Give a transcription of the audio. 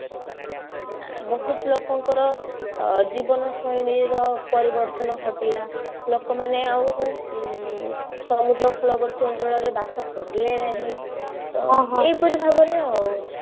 ବହୁତ ଲୋକଙ୍କର ଜୀବନ ଶୈଳୀର ପରିବର୍ତ୍ତନ ଘଟିଲା ଲୋକମାନେ ଆଉ ସମୁଦ୍ର କୁଳବର୍ତ୍ତୀ ଅଞ୍ଚଳରେ ବାସ କରିଲେ ନାହି ତ ଏହି ପରି ଭାବରେ ଆଉ